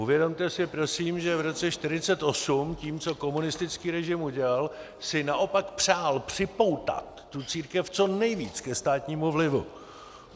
Uvědomte si prosím, že v roce 1948 tím, co komunistický režim udělal, si naopak přál připoutat tu církev co nejvíc ke státnímu vlivu.